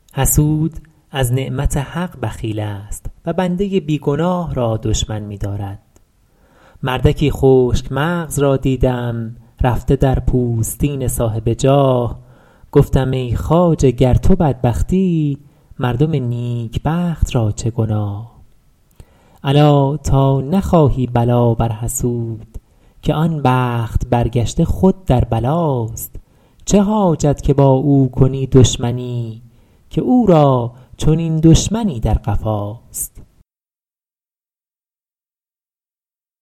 حسود از نعمت حق بخیل است و بنده بی گناه را دشمن می دارد مردکی خشک مغز را دیدم رفته در پوستین صاحب جاه گفتم ای خواجه گر تو بدبختی مردم نیکبخت را چه گناه الا تا نخواهی بلا بر حسود که آن بخت برگشته خود در بلاست چه حاجت که با او کنی دشمنی که او را چنین دشمنی در قفاست